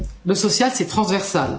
le social, c'est transversal.